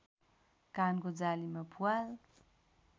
कानको जालीमा प्वाल